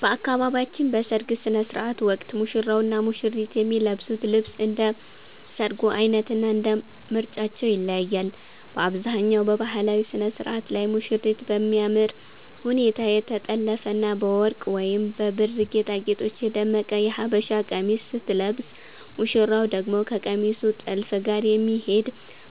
በአካባቢያችን በሰርግ ሥነ ሥርዓት ወቅት ሙሽራውና ሙሽሪት የሚለብሱት ልብስ እንደ ሰርጉ ዓይነትና እንደ ምርጫቸው ይለያያል። በአብዛኛው በባህላዊው ሥነ ሥርዓት ላይ ሙሽሪት በሚያምር ሁኔታ የተጠለፈና በወርቅ ወይም በብር ጌጣጌጦች የደመቀ የሀበሻ ቀሚስ ስትለብስ፣ ሙሽራው ደግሞ ከቀሚሱ ጥልፍ ጋር የሚሄድ